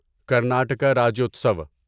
Karnataka Rajyotsava